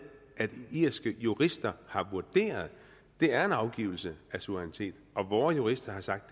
at irske jurister har vurderet at det er en afgivelse af suverænitet og at vore jurister har sagt